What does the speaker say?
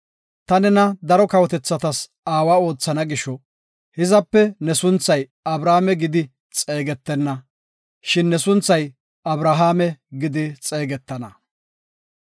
Ta nena daro kawotethatas aawa oothana gisho hizape ne sunthay Abrame gidi xeegetenna, shin ne sunthay Abrahaame gidi xeegetana.